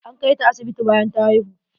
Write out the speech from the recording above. An kai ta asibiti bayan ta haihu.